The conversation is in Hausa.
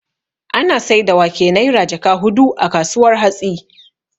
Ana saida wake Naira jaka hudu a kasuwar hatsi